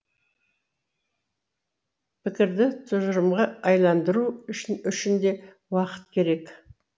пікірді тұжырымға айналдыру үшін де уақыт керек